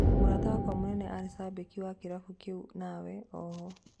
Mũrata wakwa mũnene arĩ cambĩki wa kĩrabu kĩu nawe, oho"